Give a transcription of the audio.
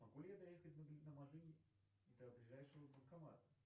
могу ли я доехать на машине до ближайшего банкомата